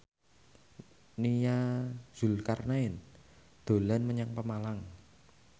Nia Zulkarnaen dolan menyang Pemalang